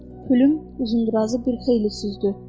Pülüm Uzundrazı bir xeyli süzdü.